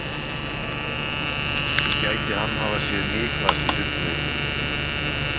Gæti hann hafa séð Niklas í sundlauginni?